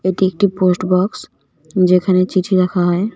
এটি একটি post box যেখানে চিঠি রাখা হয়.